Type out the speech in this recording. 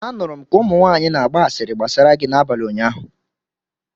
Anụrụm ka ụmụnwanyị na-agba asịrị gbasara gị n'abalị ụnyaahụ